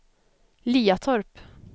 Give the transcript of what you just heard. Liatorp